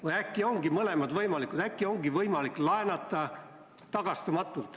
Või äkki ongi mõlemad võimalikud, äkki ongi võimalik laenata tagastamatult.